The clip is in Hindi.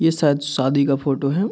ये शायद शादी का फोटो है।